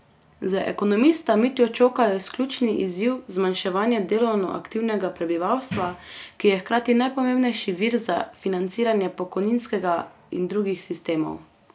Za ekonomista Mitjo Čoka je ključni izziv zmanjševanje delovno aktivnega prebivalstva, ki je hkrati najpomembnejši vir za financiranje pokojninskega in drugih sistemov.